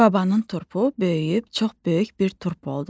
Babanın turpu böyüyüb çox böyük bir turp oldu.